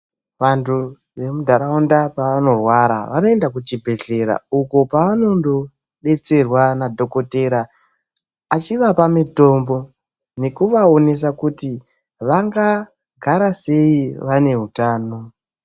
Vanthu vemundaraunda pevanorwara vanoenda kuchibhedhlera uko kwevanondobetserwa nadhokotera achivapa mitombo nekuvaonesa kuti vangagara sei vane hutano.